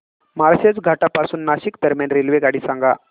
माळशेज घाटा पासून नाशिक दरम्यान रेल्वेगाडी सांगा